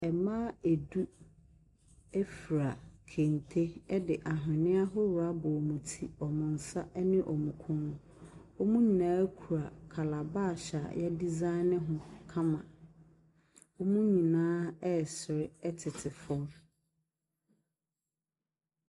Mmaa du fura kente de ahwenneɛ ahoroɔ abɔ wɔn ti, wɔn nsa ne wɔn kɔn mu. Wɔn nyinaa kura calabash a wɔadesign ho kama. Wɔn nyinaa resere tete fam.